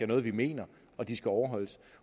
noget vi mener og de skal overholdes